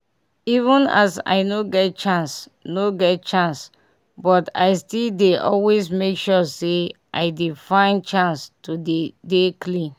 even as i no get chance no get chance but i still dey always make sure say i dey find chance to dey dey clean